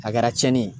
A kɛra tiɲɛni ye